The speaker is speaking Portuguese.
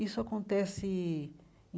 Isso acontece